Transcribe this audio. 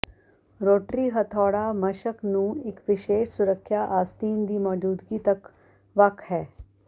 rotary ਹਥੌੜਾ ਮਸ਼ਕ ਨੂੰ ਇੱਕ ਵਿਸ਼ੇਸ਼ ਸੁਰੱਖਿਆ ਆਸਤੀਨ ਦੀ ਮੌਜੂਦਗੀ ਤੱਕ ਵੱਖ ਹੈ